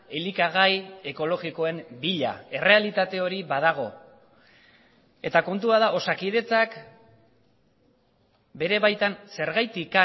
elikagai ekologikoen bila errealitate hori badago eta kontua da osakidetzak bere baitan zergatik